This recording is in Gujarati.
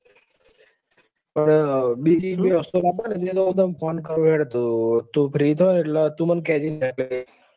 પણ બીજી જે વસ્તુ લાવવા ની હે એનું હું તને phone કરું હેડ તું free એટલે તું મને કેજે ને.